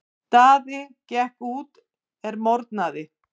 Daði gekk út er morgnaði.